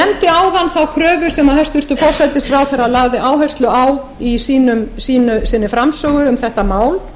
þá kröfu sem hæstvirtur forsætisráðherra lagði áherslu á í sinni framsögu um þetta mál